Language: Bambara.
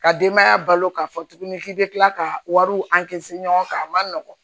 Ka denbaya balo k'a fɔ tuguni k'i bɛ tila ka wariw ɲɔgɔn kan a man nɔgɔn